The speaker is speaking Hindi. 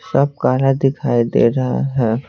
सब काला दिखाई दे रहा है।